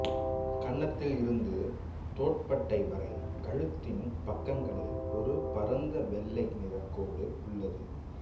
கன்னத்தில் இருந்து தோட்பட்டை வரை கழுத்தின் பக்கங்களில் ஒரு பரந்த வெள்ளை நிறக் கோடு உள்ளது